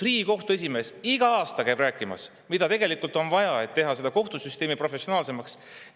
Riigikohtu esimees iga aasta käib rääkimas, mida tegelikult on vaja, et teha seda professionaalsemaks.